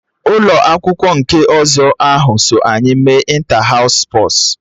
Ụlọ akwụkwọ nke ọzọ ahụ so anyị mee ịnta haụs spọs